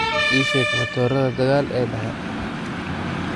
ii sheeg matoorada dagaal ee dhexe